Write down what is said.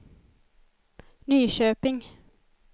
Nyköping